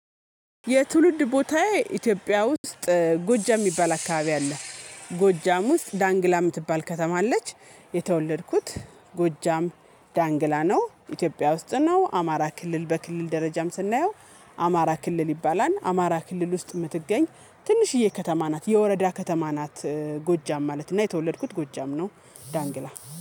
የትውልድ ቦታዬ ኢትዮጵያ ውስጥ ጎጃም የሚባል አካባቢ አለ ጎጃም ውስጥ ዳንግላ የምትባል ከተማ አለች የተወለድኩት ጎጃም ዳንግላ ነው። ኢትዮጵያ ውስጥ ነው አማራ ክልል በክልል ደረጃም ስናየው አማራ ክልል ይባላል። አማራ ክልል ውስጥ የምትገኝ ትንሽዬ ከተማ ናት የወረዳ ከተማ ናት። ጎጃም ማለት እና የተወለድኩት ጎጃም ነው ዳንግላ